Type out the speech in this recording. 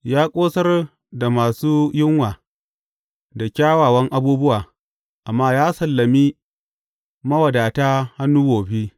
Ya ƙosar da masu yunwa da kyawawan abubuwa amma ya sallami mawadata hannu wofi.